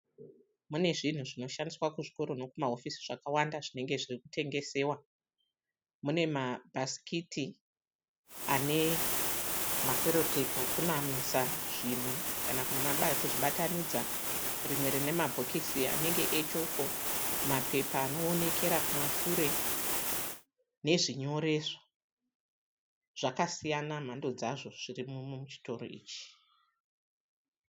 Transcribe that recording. Mune zvinhu zvinoshandiswa kuzvikoro nekumahofisi zvakawanda zvinenge zviri kutengesewa. Mune mabhasikiti ane maserotepi ekunamisa zvinhu kana kuzvibatanidza. Rimwe rine mabhokisi anenge echoko, mapepa anoonekera kumashure nezvinyoreso. Zvakasiyana mhando dzazvo zvirimo muchitoro ichi.